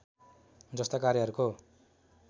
जस्ता कार्यहरूको